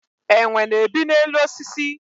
Enwe na-ebi n'elu osisi